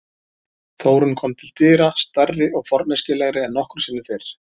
Þórunn kom til dyra, stærri og forneskjulegri en nokkru sinni fyrr.